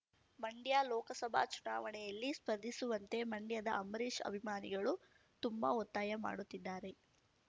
ಮಂಡ್ಯ ಲೋಕಸಭಾ ಚುನಾವಣೆಯಲ್ಲಿ ಸ್ಪರ್ಧಿಸುವಂತೆ ಮಂಡ್ಯದ ಅಂಬರೀಶ್‌ ಅಭಿಮಾನಿಗಳು ತುಂಬಾ ಒತ್ತಾಯ ಮಾಡುತ್ತಿದ್ದಾರೆ